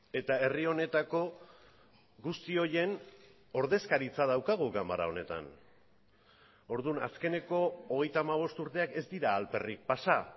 eta herri honetako guzti horien ordezkaritza daukagu ganbara honetan orduan azkeneko hogeita hamabost urteak ez dira alperrik pasa